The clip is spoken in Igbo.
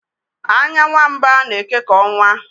anya nwa mba na-eke ka ọnwa